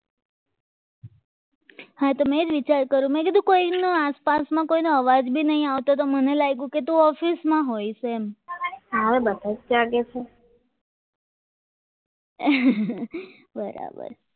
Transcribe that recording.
આતો મેં જ વિચાર કરો મેં કીધું કોઈનો આસપાસમાં કોઈનો અવાજ પણ નહીં આવતો મને તો લાગે કે તું ઓફિસમાં આવી છે બરાબર